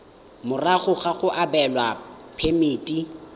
morago ga go abelwa phemiti